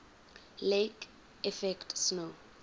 lake effect snow